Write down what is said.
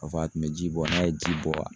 K'a fɔ a tun bɛ ji bɔ n'a ye ji bɔ